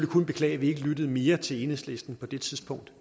kun beklage at vi ikke lyttede mere til enhedslisten på det tidspunkt